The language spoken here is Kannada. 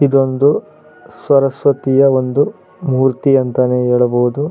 ಇದೊಂದು ಸರಸ್ವತಿಯ ಒಂದು ಮೂರ್ತಿ ಅಂತಃನೆ ಹೇಳಬಹುದು.